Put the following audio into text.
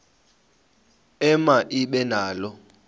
ema ibe nalo